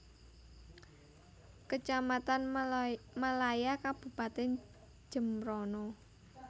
Kecamatan Melaya Kabupatèn Jembrana